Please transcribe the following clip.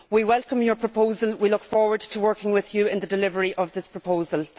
We welcome your proposal and we look forward to working with you in the delivery of this proposal.